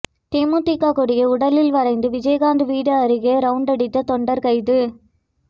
தேமுதிக கொடியை உடலில் வரைந்து விஜயகாந்த் வீடு அருகே ரவுண்டடித்த தொண்டர் கைது